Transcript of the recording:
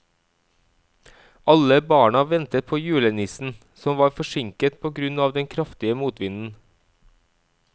Alle barna ventet på julenissen, som var forsinket på grunn av den kraftige motvinden.